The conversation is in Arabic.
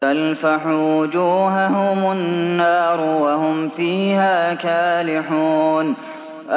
تَلْفَحُ وُجُوهَهُمُ النَّارُ وَهُمْ فِيهَا كَالِحُونَ